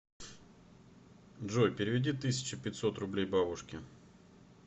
джой переведи тысяча пятьсот рублей бабушке